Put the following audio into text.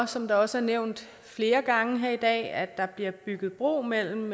som det også er nævnt flere gange her i dag er at der bliver bygget bro mellem